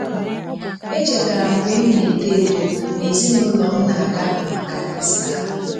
Echetara m mgbe m na-eto eto, na ezinụụlọ m na-aga maka Ista.